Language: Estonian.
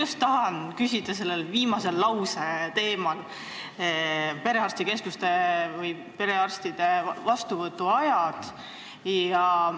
Ma tahan küsida selle viimase teema, perearstide vastuvõtuaegade kohta.